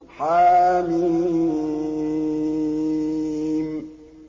حم